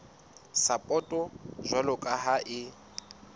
sapoto jwalo ka ha e